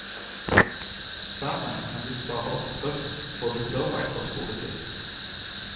Dermed kan de spare opp kryss både før og etter skoletid.